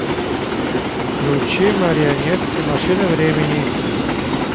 включи марионетки машины времени